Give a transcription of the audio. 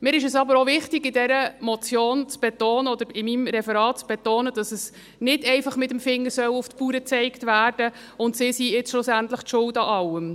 Es ist mir aber auch wichtig, in dieser Motion oder in meinem Referat zu betonen, dass nicht einfach mit dem Finger auf die Bauern gezeigt werden soll und sie jetzt schlussendlich an allem schuld sind.